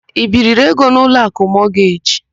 I biiri ego n' Ụlọakụ Mọgeji?